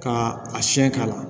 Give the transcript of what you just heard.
Ka a siɲɛ k'a la